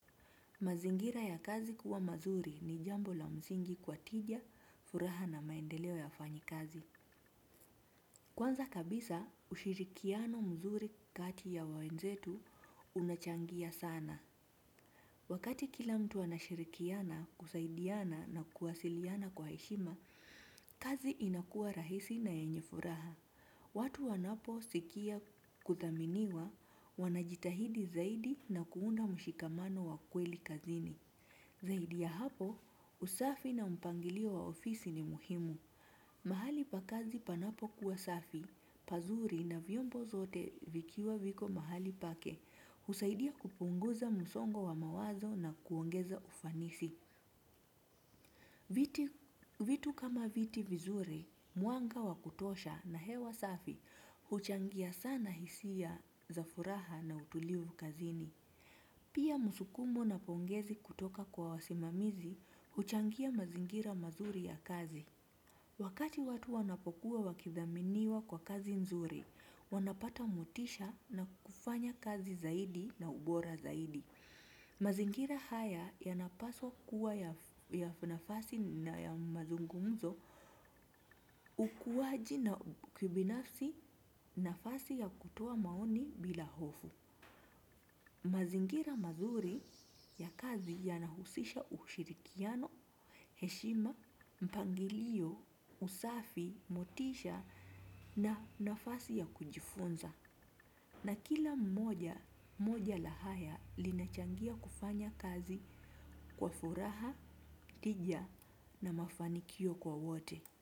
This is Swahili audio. Mazingira ya kazi kuwa mazuri ni jambo la mzingi kwa tija, furaha na maendeleo ya fanyi kazi. Kwanza kabisa, ushirikiano mzuri kati ya wawenzetu unachangia sana. Wakati kila mtu anashirikiana, kusaidiana na kuwasiliana kwa eshima, kazi inakua rahisi na yenye furaha. Watu wanapo sikia kuthaminiwa wanajitahidi zaidi na kuunda mushikamano wa kweli kazini. Zaidi ya hapo, usafi na mpangilio wa ofisi ni muhimu. Mahali pakazi panapo kuwa safi, pazuri na vyombo zote vikiwa viko mahali pake, husaidia kupunguza musongo wa mawazo na kuongeza ufanisi. Vitu kama viti vizuri, muanga wa kutosha na hewa safi, huchangia sana hisia za furaha na utulivu kazini. Pia musukumo na pongezi kutoka kwa wasimamizi huchangia mazingira mazuri ya kazi. Wakati watu wanapokuwa wakithaminiwa kwa kazi nzuri, wanapata motisha na kufanya kazi zaidi na ubora zaidi. Mazingira haya yanapasua kuwa ya nafasi na ya mazungumzo ukuwaji na ubinafsi nafasi ya kutoa maoni bila hofu. Mazingira mazuri ya kazi ya nahusisha ushirikiano, heshima, mpangilio, usafi, motisha na nafasi ya kujifunza. Na kila mmoja, moja lahaya linachangia kufanya kazi kwa furaha, tija na mafanikio kwa wote.